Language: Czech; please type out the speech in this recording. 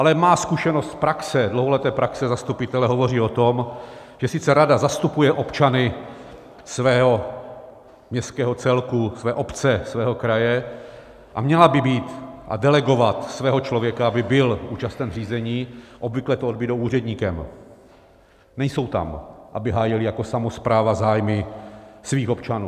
Ale má zkušenost z praxe, dlouholeté praxe zastupitele hovoří o tom, že sice rada zastupuje občany svého městského celku, své obce, svého kraje a měla by být a delegovat svého člověka, aby byl účasten řízení, obvykle to odbydou úředníkem, nejsou tam, aby hájili jako samospráva zájmy svých občanů.